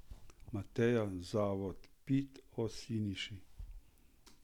Mateja, Zavod Pit, o Siniši.